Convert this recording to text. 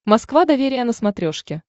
москва доверие на смотрешке